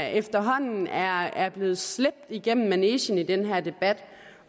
efterhånden er er blevet slæbt igennem manegen i den her debat